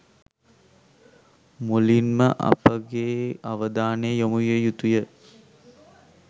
මුලින් ම අප ගේ අවධානය යොමු විය යුතු ය.